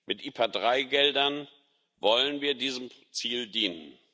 Mit IPA III Geldern wollen wir diesem Ziel dienen.